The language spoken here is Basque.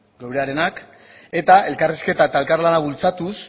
geurearenak eta elkarrizketa eta elkarlana bultzatuz